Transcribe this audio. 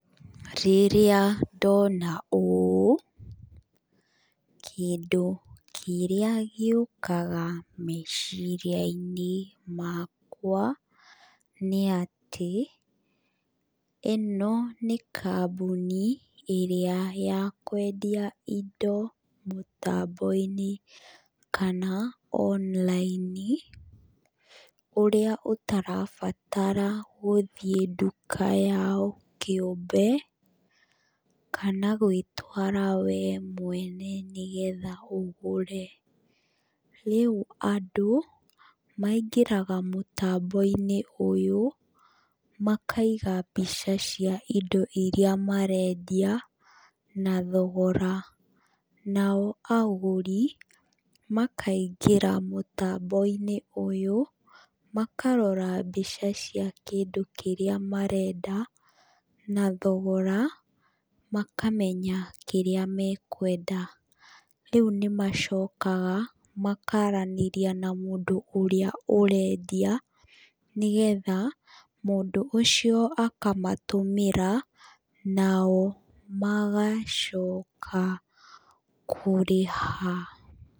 Rĩrĩra ndona ũũ kĩndũ kĩrĩa gĩũkaga meciria-inĩ makwa nĩ atĩ ino nĩ kambuni ĩrĩa ya kwendia indo mũtambo-inĩ kana online ũrĩa ũtarabatara gũthiĩ nduka yao kĩũmbe kana gwĩtwara wee mwene nĩ getha nũgũre rĩu andüũ maingĩraga mũtambo-inĩ ũyũ makaiga mbica cia indo iria marendia na thogora. Nao agũri makaingĩra mũtambo-inĩ ũyũ makarora mbica cia kĩndũ kĩrĩa marendia na thogora makamenya kĩrĩa mekwenda. Rĩu nĩ macokaga makaranĩria na mũndũ ũrĩa ũrendia mũndũ ũcio akamatũmĩra nao magacoka kũrĩha.